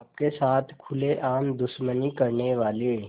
आपके साथ खुलेआम दुश्मनी करने वाले